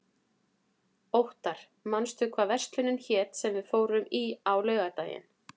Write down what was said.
Óttar, manstu hvað verslunin hét sem við fórum í á laugardaginn?